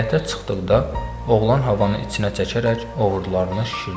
Həyətə çıxdıqda oğlan havanı içinə çəkərək ovurdularını şişirtdi.